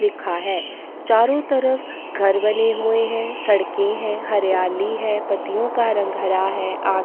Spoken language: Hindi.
लिखा हैं चारो तरफ़ घर बने हुए सड़के है हरयाली हैं पत्तियों का रंग हरा हैं आस --